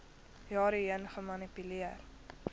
jare heen gemanipuleer